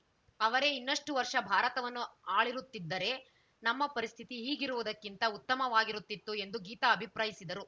ಅವರೇ ಇನ್ನಷ್ಟುವರ್ಷ ಭಾರತವನ್ನು ಆಳಿರುತ್ತಿದ್ದರೆ ನಮ್ಮ ಪರಿಸ್ಥಿತಿ ಈಗಿರುವುದಕ್ಕಿಂತ ಉತ್ತಮವಾಗಿರುತ್ತಿತ್ತು ಎಂದು ಗೀತಾ ಅಭಿಪ್ರಾಯಿಸಿದರು